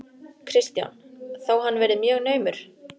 Kristján: Þó hann verið mjög naumur?